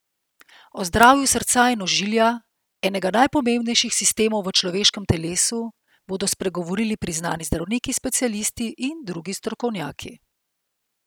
O zdravju srca in ožilja, enega najpomembnejših sistemov v človeškem telesu, bodo spregovorili priznani zdravniki specialisti in drugi strokovnjaki.